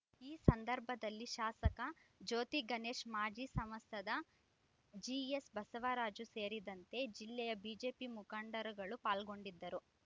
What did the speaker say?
ಈ ಸಂದರ್ಭದಲ್ಲಿ ಶಾಸಕ ಜ್ಯೋತಿಗಣೇಶ್ ಮಾಜಿ ಸಂಸ್ಥಾದ ಜಿಎಸ್ ಬಸವರಾಜು ಸೇರಿದಂತೆ ಜಿಲ್ಲೆಯ ಬಿಜೆಪಿ ಮುಖಂಡರುಗಳು ಪಾಲ್ಗೊಂಡಿದ್ದರು